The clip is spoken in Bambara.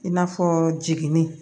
I n'a fɔ jiginni